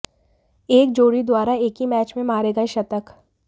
एक जोड़ी द्वारा एक ही मैच में मारे गए शतक